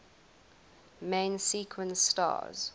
main sequence stars